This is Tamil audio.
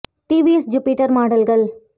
டிவிஎஸ் ஜுபிடர் மாடல்கள்